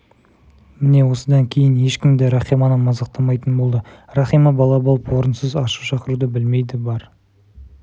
міне осыдан кейін ешкім де рахиманы мазақтамайтын болды рахима бала болып орынсыз ашу шақыруды білмейді бар